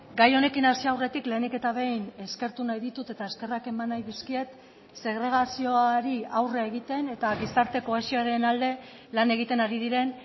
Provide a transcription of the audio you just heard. gai honekin hasi aurretik lehenik eta behin eskertu nahi ditut eta eskerrak eman nahi dizkiet segregazioari aurre egiten eta gizarte kohesioaren alde lan egiten ari diren